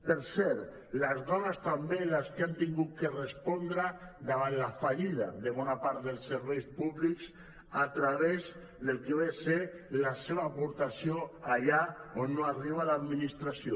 per cert les dones són també les que han hagut de respondre davant la fallida de bona part dels serveis públics a través del que ve a ser la seva aportació allà on no arriba l’administració